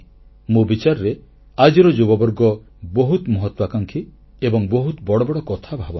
ମୋ ବିଚାରରେ ଆଜିର ଯୁବବର୍ଗ ବହୁତ ମହତ୍ୱାକାଂକ୍ଷୀ ଏବଂ ବହୁତ ବଡ଼ ବଡ଼ କଥା ଭାବନ୍ତି